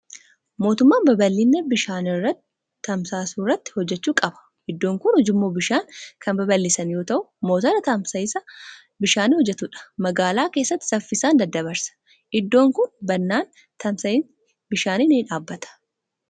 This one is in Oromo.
Mootummaan babal'ina bishaan tamsaasuu irratti hojjechuu qaba. Iddoon kun ujummoo bishaanii kan babal'isan yoo ta'u, motora tamsa'iinsa bishaanii hojjetudha. Magaalaa keessatti saffisaan daddabarsa. Iddoon kun badnaan tamsa'iinsi bishaanii ni dhaabbata.